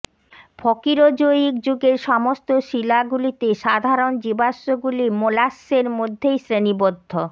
ফকিরোজোয়িক যুগের সমস্ত শিলাগুলিতে সাধারণ জীবাশ্মগুলি মোল্লাস্সের মধ্যে শ্রেণীবদ্ধ